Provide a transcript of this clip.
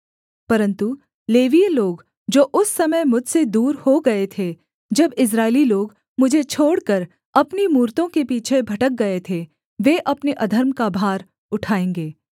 परन्तु लेवीय लोग जो उस समय मुझसे दूर हो गए थे जब इस्राएली लोग मुझे छोड़कर अपनी मूरतों के पीछे भटक गए थे वे अपने अधर्म का भार उठाएँगे